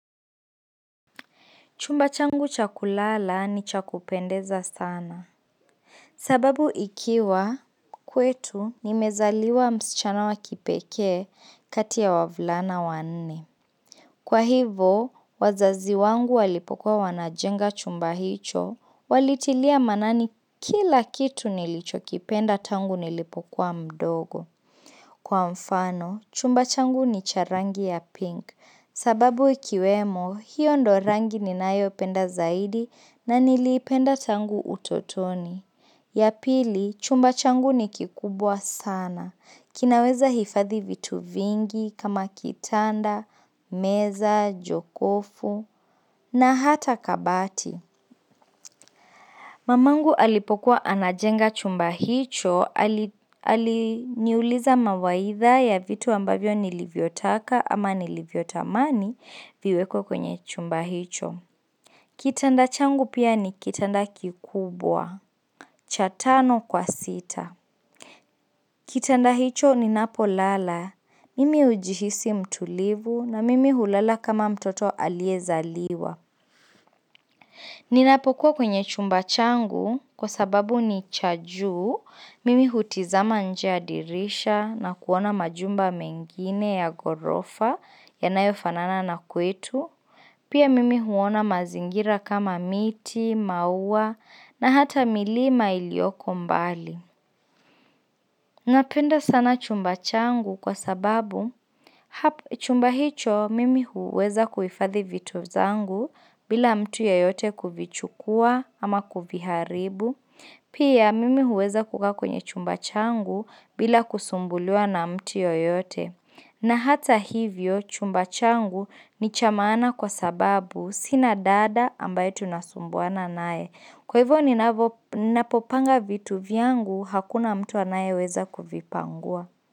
Chumba changu cha kulala ni cha kupendeza sana. Sababu ikiwa kwetu nimezaliwa msichana wa kipekee kati ya wavulana wa nne. Kwa hivo, wazazi wangu walipokuwa wanajenga chumba hicho, walitilia manani kila kitu nilichokipenda tangu nilipokuwa mdogo. Kwa mfano, chumba changu ni cha rangi ya pink sababu ikiwemo hiyo ndo rangi ninayopenda zaidi na niliipenda tangu utotoni. Ya pili, chumba changu ni kikubwa sana. Kinaweza hifadhi vitu vingi kama kitanda, meza, jokofu na hata kabati. Mamangu alipokuwa anajenga chumba hicho, aliniuliza mawaidha ya vitu ambavyo nilivyotaka ama nilivyotamani viwekwe kwenye chumba hicho. Kitanda changu pia ni kitanda kikubwa, cha tano kwa sita. Kitanda hicho ninapolala, mimi ujihisi mtulivu na mimi hulala kama mtoto aliezaliwa. Ninapokuwa kwenye chumba changu kwa sababu ni cha juu, mimi hutizama nje ya dirisha na kuona majumba mengine ya gorofa yanayofanana na kwetu, pia mimi huona mazingira kama miti, maua na hata milima ilioko mbali. Napenda sana chumba changu kwa sababu chumba hicho mimi huweza kuhifadhi vitu zangu bila mtu yoyote kuvichukua ama kuviharibu. Pia mimi huweza kukaa kwenye chumba changu bila kusumbuliwa na mtu yoyote. Na hata hivyo, chumba changu ni cha maana kwa sababu sina dada ambaye tunasumbuana naye. Kwa hivyo ninapopanga vitu vyangu, hakuna mtu anayeweza kuvipangua.